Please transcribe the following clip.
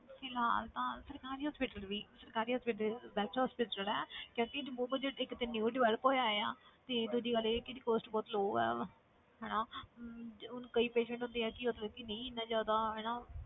ਫਿਲਹਾਲ ਤਾਂ ਸਰਕਾਰੀ hospital ਵੀ ਸਰਕਾਰੀ hospital best hospital ਹੈ ਇੱਕ ਤੇ new develop ਹੋਇਆ ਆ ਤੇ ਦੂਜੀ ਗੱਲ ਇਹ ਕਿ ਇਹਦੀ cost ਬਹੁਤ low ਹੈ ਹਨਾ ਹੁਣ ਕਈ patient ਹੁੰਦੇ ਆ ਕਿ ਮਤਲਬ ਕਿ ਨਹੀਂ ਇੰਨਾ ਜ਼ਿਆਦਾ ਹਨਾ